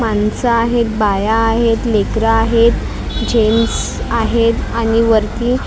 माणसं आहेत बाया आहेत लेकरं आहेत जेन्स आहेत आणि वरती अ--